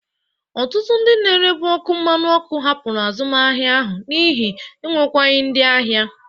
Ọtụtụ ndị na-erebụ ọkụ mmanụ ọkụ hapụrụ azụmahịa ahụ n'ihi enwekwaghi ndị ahịa.